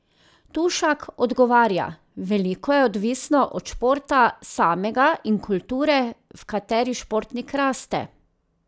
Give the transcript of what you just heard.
Tušak odgovarja: "Veliko je odvisno od športa samega in kulture, v kateri športnik raste.